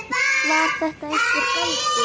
Var þetta einhver galdur?